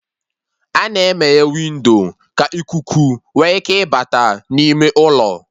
A-na emeye windo ka ikuku nwe ike bata n'ime ụlọ